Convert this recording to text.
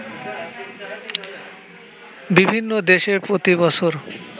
বিভিন্ন দেশে প্রতি বছর